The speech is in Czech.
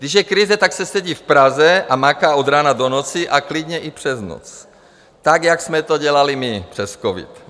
Když je krize, tak se sedí v Praze a maká od rána do noci, a klidně i přes noc tak, jak jsme to dělali my přes covid.